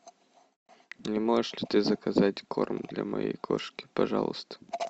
не можешь ли ты заказать корм для моей кошки пожалуйста